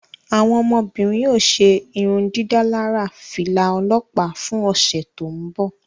Awọn ọmọbirin o ṣe irundidalara fila ọlọpa fún ọsẹ to nbọ